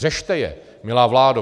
Řešte je, milá vládo!